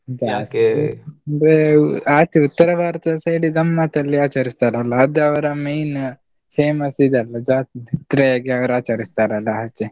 ಬೆ ಆಚೆ ಉತ್ತರ ಭಾರತದ side ಗಮ್ಮತ್ತಲ್ಲಿ ಆಚರಿಸ್ತಾರಲ್ಲ ಅದು ಅವ್ರ main famous ಇದಲ್ಲ ಜಾತ್ರೆ ಆಗಿ ಅವ್ರ್ ಆಚರಿಸ್ತಾರಲ್ಲ ಆಚೆ.